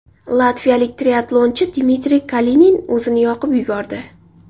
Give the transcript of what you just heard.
Latviyalik triatlonchi Dmitriy Kalinin o‘zini yoqib yubordi.